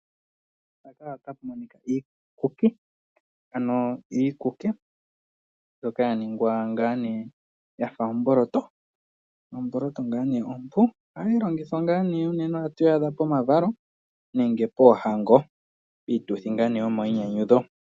Mpaka otapu monika iikuki, ano iikuki mbyoka yaningwa ngaa nee yafa omboloto. Omboloto ngaa nee ompu, ohayi longithwa ngaa nee unene ohatu yi adha pomavalo nenge poohango, piituthi ngaa nee yomainyanyudho.